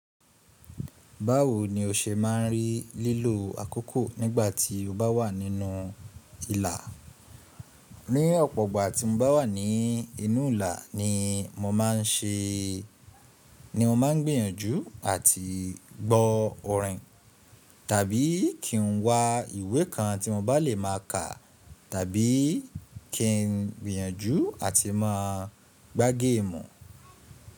Báwo ni o se ma n rí lílò àkókò nígbà tí o bá wà nínú ìlà? Ní ọ̀pọ̀ ọ̀gbọ̀n àti mo bá wà ní inú ìlà ni mo ma n ṣe, ni mo ma n gbìyànjú àti gbọ́ orin, tàbí kí n wa ìwé kan tí mo bá lè máa kà, tàbí kí n gbìyànjú àti má gbá géèmù.